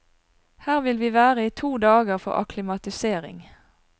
Her vil vi være i to dager for akklimatisering.